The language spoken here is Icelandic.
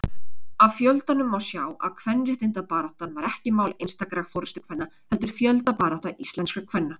Af fjöldanum má sjá að kvenréttindabaráttan var ekki mál einstakra forystukvenna heldur fjöldabarátta íslenskra kvenna.